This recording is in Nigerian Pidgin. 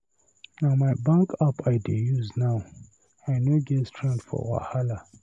Na my bank app I dey use now. I no get strength for wahala.